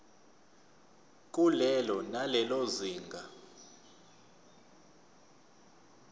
kulelo nalelo zinga